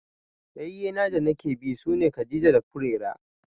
Ƴayyena danake bi sune Khadija da Furera.